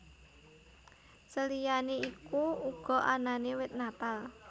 Seliyane iku uga anane wit Natal